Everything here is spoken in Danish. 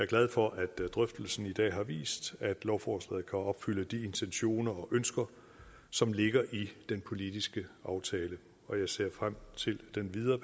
glad for at drøftelsen i dag har vist at lovforslaget kan opfylde de intentioner og ønsker som ligger i den politiske aftale og jeg ser frem til den videre